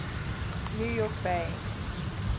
new york bay